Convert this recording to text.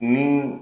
Ni